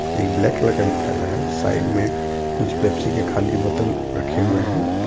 एक black colour का भी थैला है साइड में कुछ पेप्सी के खाली बोतल रखे हुए हैं.